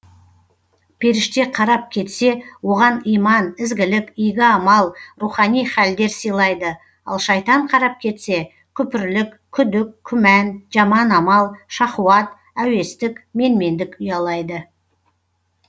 періште қарап кетсе оған иман ізгілік игі амал рухани хәлдер сыйлайды ал шайтан қарап кетсе күпірлік күдік күмән жаман амал шахуат әуестік менмендік ұялайды